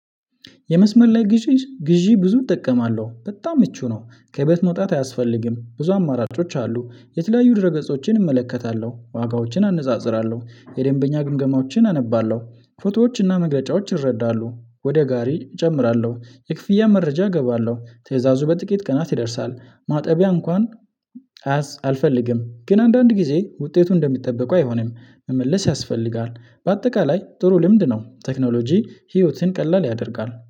የመስመር ላይ ግዢ ግዢ ብዙ እጠቀማለሁ በጣም ምቹ ነው። ከቤት መውጣት አያስፈልግም ብዙ አማራጮች አሉ የተለያዩ ድህረ ገጾችን እመለከታለሁ ዋጋዎችን አነጻጽራለሁ የደንበኛ ግምገማዎችን አነባለሁ። ፎቶዎች መግለጫዎች ይረዳሉ ወደ ጋሪ እጨምራለሁ የክፍያ መረጃ እገባለሁ ትዕይዛዙ በጥቂት ቀናት ይደርሳል። ማጠቢያ እንኳን አያስ አልፈልግም። ግን አንዳንድ ጊዜ ውጤቱ እንደሚጠበቀው አይሆንም። መመለስ ያስፈልጋል። በአጠቃላይ ጥሩ ልምድ ነው። ቴክኖሎጂ ህይወትን ቀላል ያደርጋል